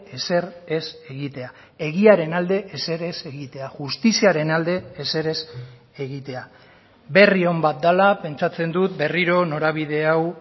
ezer ez egitea egiaren alde ezer ez egitea justiziaren alde ezer ez egitea berri on bat dela pentsatzen dut berriro norabide hau